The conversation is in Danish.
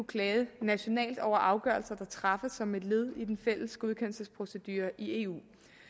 klage nationalt over afgørelser der træffes som et led i den fælles godkendelsesprocedure i eu